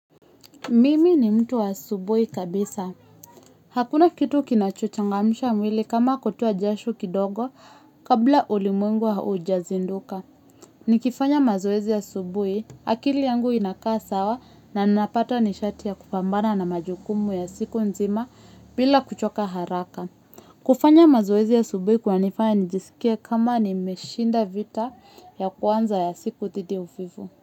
Mimi ni mtu wa asubuhi kabisa. Hakuna kitu kinachochangamsha mwili kama kutoa jasho kidogo kabla ulimwengu haujazinduka. Nikifanya mazoezi asubuhi, akili yangu inakaa sawa na ninapata nishati ya kupambana na majukumu ya siku nzima bila kuchoka haraka. Kufanya mazoezi asubuhi kun nifanya nijisikie kama nimeshinda vita ya kwanza ya siku dhidi uvivu.